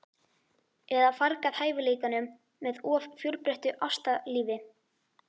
Eða fargað hæfileikanum með of fjölbreyttu ástalífi?